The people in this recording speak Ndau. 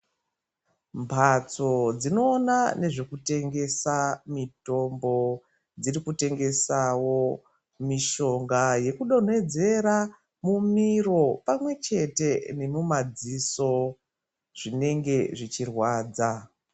Mhatso dzinoona nezvekutengesa mitombo dzirikutengesawo mishonga yekudonhedzera mumiro pamwechete nemumadziso zvinenge zvichirwadza.